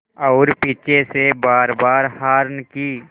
और पीछे से बारबार हार्न की